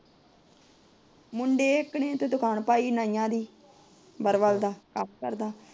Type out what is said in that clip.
ਮੁੰਡੇ ਇੱਕ ਨੇ ਤਾ ਦੁਕਾਨ ਪਾਈ ਏ ਨਾਇਆ ਦੀ ਬਾਰਬਰ ਦਾ ਕਮ ਕਰਦਾ